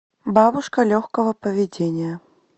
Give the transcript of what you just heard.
бабушка легкого поведения